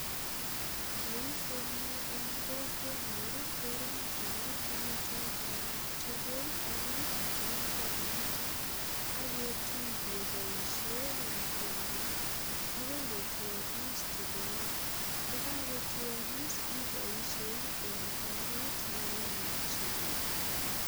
Boisioni en kokwenyun kerongyini tuguchoton tugul nebo mugonoto ak ketui keboisie lakwenyin agoi kotuagis tugulu. Ndakakotuagis iboisie eng oret nekemokyini gei.